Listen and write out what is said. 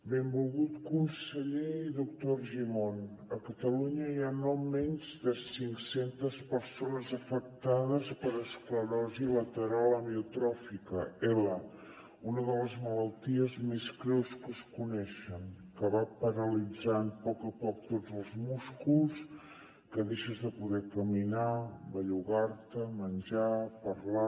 benvolgut conseller i doctor argimon a catalunya hi ha no menys de cinc centes persones afectades per esclerosi lateral amiotròfica ela una de les malalties més greus que es coneixen que va paralitzant a poc a poc tots els músculs que deixes de poder caminar bellugar te menjar parlar